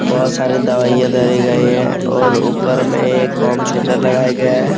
बोहोत सारे दवाइयां धरी गई हैं और ऊपर में एक होम थिएटर लगाया गया।